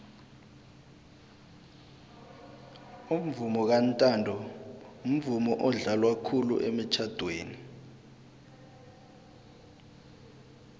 umvomo kantanto mvumo odlalwa khulu emitjhadweni